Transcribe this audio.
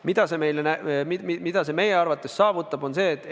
Mida see meie arvates annab?